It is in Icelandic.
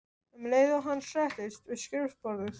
um leið og hann settist við skrifborðið.